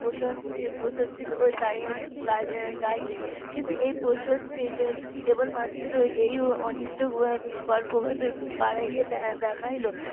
প্রশস্তি ও প্রশান্তি গাইলেন কিন্তু এই প্রশস্তির কেবলমাত্র এই অনিশ্চয়তাকর ভাবে বাড়াইয়া দেখাইল